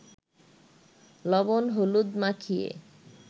লবণ-হলুদ মাখিয়ে